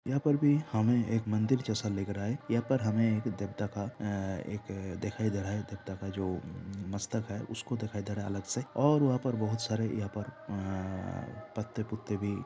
यहाँ पर भी हमे एक मंदिर जैसा लग रहा है यहाँ पर हमें एक दग दगा ऐ एक दिखाई दे रहा है दग दगा जो मस्तक है उसको दिखाई दे रहा है अलग से जो और वहाँ पर बहुत सरे यहाँ पर आ पत्ते पुत्ते भी--